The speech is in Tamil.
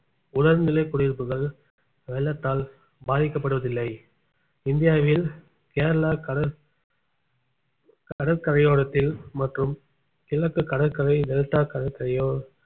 முதல்நிலை குடியிருப்புகள் வெள்ளத்தால் பாதிக்கப்படுவதில்லை இந்தியாவில் கேரளா கடல் கடற்கரையோரத்தில் மற்றும் கிழக்கு கடற்கரை டெல்டா கடற்கரையோ